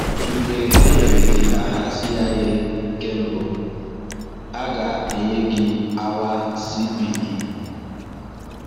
Mgbe e nyere gị aha CIA nke mbụ, a ga-enye gị awa CPE.